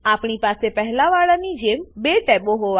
આપણી પાસે પહેલા વાળાની જેમ બે ટેબો હોવા જોઈએ